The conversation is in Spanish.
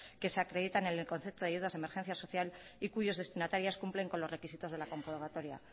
que se acreditan en el concepto de ayudas de emergencia social y cuyos destinatarios cumplen con los requisitos de la comprobatoria